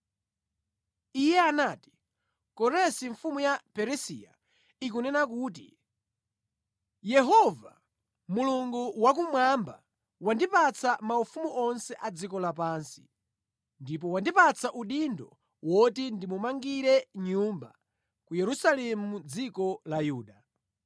Iye anati, “Koresi mfumu ya Perisiya ikunena kuti, “ ‘Yehova, Mulungu wakumwamba wandipatsa maufumu onse a dziko lapansi, ndipo wandipatsa udindo woti ndimumangire Nyumba ku Yerusalemu mʼdziko la Yuda.